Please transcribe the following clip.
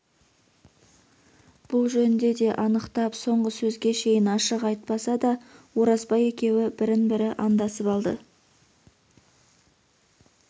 бұл жөнде де анықтап соңғы сөзге шейін ашық айтпаса да оразбай екеуі бірін-бірі андасып алды